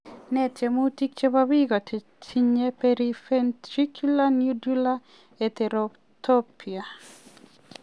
Nee tiemutik chebo biko che tinye periventricular nodular heterotopia?